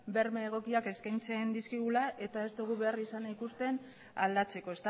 berme egokiak eskaintzen dizkigula eta ez dugu beharrizana ikusten aldatzeko